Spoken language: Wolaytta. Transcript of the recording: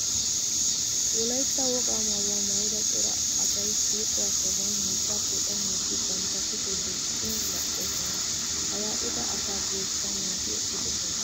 Wolaytta wogaa maayuwa maayda cora asay shiiquwa sohuwan miichchaa poocammiiddi bantta kushee duuxxin baqqoosona. Ha yaa'ida asaa guyyessan naa"ati eqqidosona.